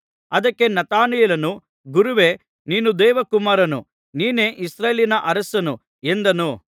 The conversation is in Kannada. ಅದಕ್ಕೆ ನತಾನಯೇಲನು ಗುರುವೇ ನೀನು ದೇವಕುಮಾರನು ನೀನೇ ಇಸ್ರಾಯೇಲಿನ ಅರಸನು ಎಂದನು